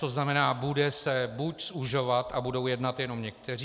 To znamená, bude se buď zužovat a budou jednat jenom někteří.